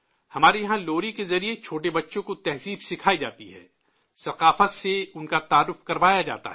ہمارے یہاں لوری کے ذریعے چھوٹے بچوں کو آداب سکھائے جاتے ہیں، ثقافت سے ان کا تعارف کروایا جاتا ہے